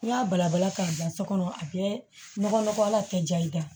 N'i y'a balabala k'a bila so kɔnɔ a bɛ nɔgɔya kɛ ja i kan